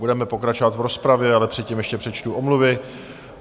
Budeme pokračovat v rozpravě, ale předtím ještě přečtu omluvy.